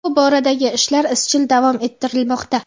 Bu boradagi ishlar izchil davom ettirilmoqda.